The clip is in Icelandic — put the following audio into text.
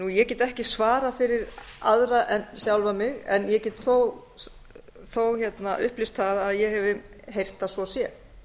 ég get ekki svarað fyrir aðra en sjálfa mig en ég get þó upplýst það að ég hef heyrt að svo sé